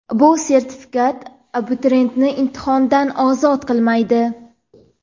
bu sertifikat abituriyentni imtihondan ozod qilmaydi.